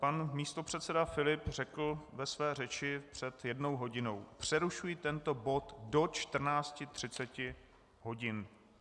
Pan místopředseda Filip řekl ve své řeči před jednou hodinou: Přerušuji tento bod do 14.30 hodin.